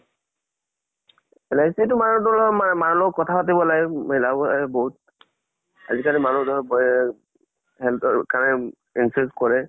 LIC টো মানে মানুহৰ লগত কথা পাতিব লাগে, মিলাব লাগে বহুত। আজি কালি মানুহ ধৰক বেহ health ৰ কাৰণে insurance কৰে।